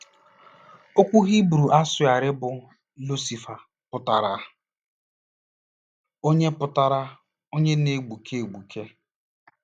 Okwu Hibru a sụgharịrị bụ “ Lucifa” pụtara “onye pụtara “onye na-egbuke egbuke.”